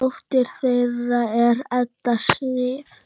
Dóttir þeirra er Edda Sif.